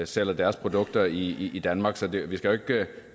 sælger deres produkter i i danmark så vi vi skal